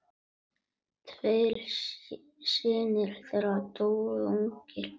Tveir synir þeirra dóu ungir.